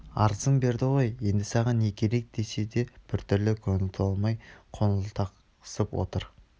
арызын берді ғой енді саған не керек десе де біртүрлі көңіл толмай қоңылтақсып отыр